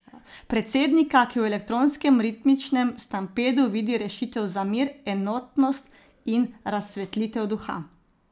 Predsednika, ki v elektronskem ritmičnem stampedu vidi rešitev za mir, enotnost in razsvetlitev duha.